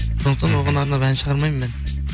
сондықтан оған арнап ән шығармаймын мен